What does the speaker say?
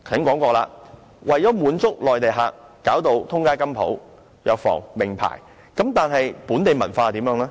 我剛才提到，為了滿足內地旅客，現時滿街也是金鋪、藥房和名牌店鋪，但本地文化又何去何從呢？